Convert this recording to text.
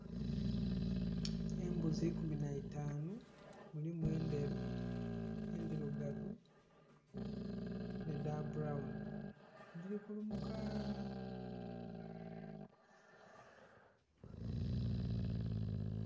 Embuzi ikumi nhaitaanu mulimu endheru, endhirugavu n'edha bbulawuni dhiri kulumuka..